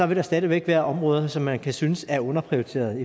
det stadig væk være områder som man kan synes er underprioriterede